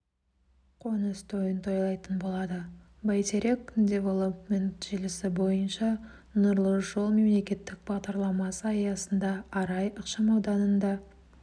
қоныс тойын тойлайтын болады бәйтерек девелопмент желісі бойынша нұрлы жол мемлекеттік бағдарламасы аясында арай ықшамауданында